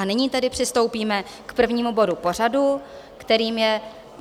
A nyní tedy přistoupíme k prvnímu bodu pořadu, kterým je